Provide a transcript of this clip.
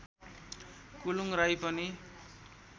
कुलुङ् राई पनि